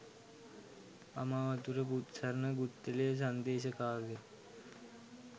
අමාවතුර බුත්සරණ ගුත්තිලය සංදේශ කාව්‍ය